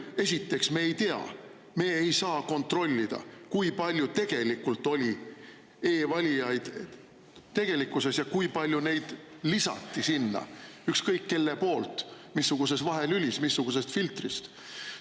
Esiteks, me ei tea, me ei saa kontrollida, kui palju tegelikult oli e-valijaid ja kui palju neid lisati sinna ükskõik kelle poolt ükskõik missuguses vahelülis ja missuguse filtri abil.